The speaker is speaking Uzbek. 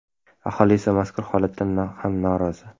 Aholi esa mazkur holatdan ham norozi.